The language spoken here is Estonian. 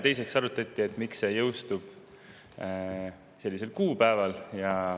Teiseks arutati, miks see jõustub sellisel kuupäeval.